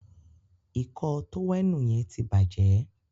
Ìkọ́ọ tówẹ́ẹ̀nù yen tí bàjé